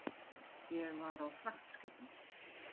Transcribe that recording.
Ég var á fragtskipum.